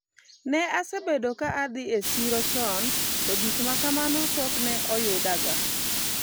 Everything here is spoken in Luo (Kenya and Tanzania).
ne asebedo ga ka adhi e siro chon to gimakamano pok ne oyudaga